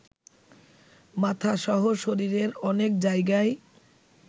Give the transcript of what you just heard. মাথাসহ শরীরের অনেক জায়গায়